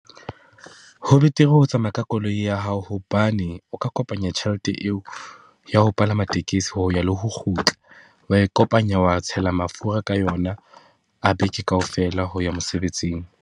Ho betere ho tsamaya ka koloi ya hao hobane o ka kopanya tjhelete eo ya ho palama tekesi ho ya le ho kgutla, wa e kopanya wa tshela mafura ka yona a beke kaofela ho ya mosebetsing.